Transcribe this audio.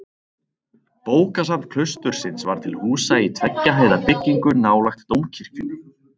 Bókasafn klaustursins var til húsa í tveggja hæða byggingu nálægt dómkirkjunni.